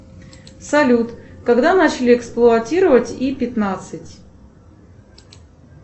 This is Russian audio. салют когда начали эксплуатировать и пятнадцать